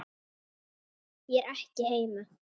Ég er ekki heima.